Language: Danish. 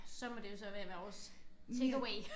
Så må det jo så være vores takeaway